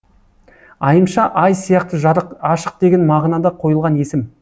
айымша ай сияқты жарық ашық деген мағынада қойылған есім